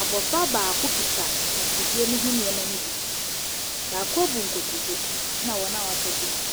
Abofra baako kita afidie ne ho nneɛma ne bi. Baako abu nkotodwe ɛna wɔn a waka no gyina hɔ.